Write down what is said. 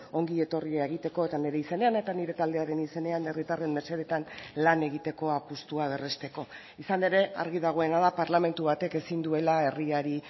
ongi etorria egiteko eta nire izenean eta nire taldearen izenean herritarren mesedeetan lan egiteko apustua berresteko izan ere argi dagoena da parlamentu batek ezin duela herriari